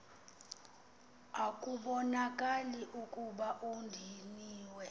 ekubonakala ukuba udiniwe